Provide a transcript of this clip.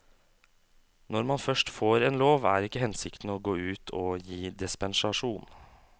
Når man først får en lov, er ikke hensikten å gå ut og gi dispensasjon.